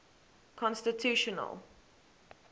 constitutional